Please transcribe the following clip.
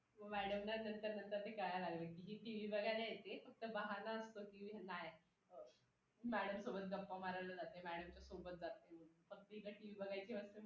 नमस्कार मित्रांनो माझे नाव मनीषा.आज मी आई या बद्दल बोलणार आहे.माझ्या आईचे नाव प्रेरना आहे.ति तिच्या नावाप्रमाणेच खूप प्रेमळ व दयाळू आहे.